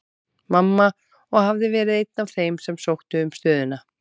Mamma, og hafði verið einn af þeim sem sóttu um stöðuna.